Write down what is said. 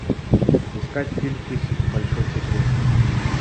искать фильм фиксики большой секрет